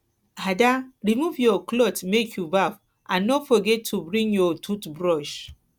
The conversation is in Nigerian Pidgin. ada remove your cloth make you baff and no forget to bring your tooth brush